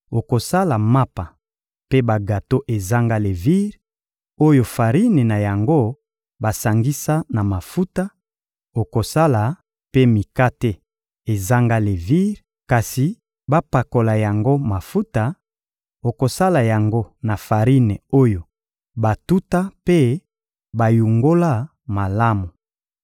okosala mapa mpe bagato ezanga levire, oyo farine na yango basangisa na mafuta; okosala mpe mikate ezanga levire, kasi bapakola yango mafuta; okosala yango na farine oyo batuta mpe bayungola malamu.